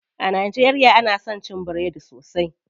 A najeriya ana son cin biredi sosai.